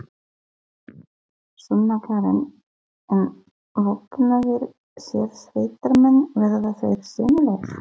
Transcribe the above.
Sunna Karen: En vopnaðir sérsveitarmenn, verða þeir sýnilegir?